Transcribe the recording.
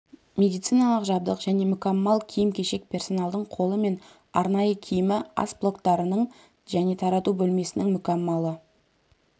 медициналық жабдық және мүкәммал киім-кешек персоналдың қолы мен арнайы киімі ас блоктарының және тарату бөлмесінің мүкәммалы